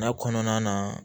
N'a kɔnɔna na